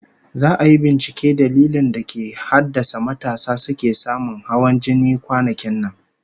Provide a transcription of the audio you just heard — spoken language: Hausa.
Za'a yi binciken dalilin da ke haddasa matasa suke samun hawan jini kwanakin nan